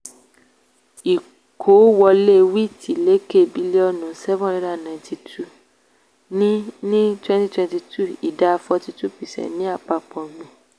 ìkówọlé wheat lékè bílíọ̀nu seven hundred and ninety two ní ní twenty twenty two ìdá forty two percent ti àpapọ̀ ọ̀gbìn.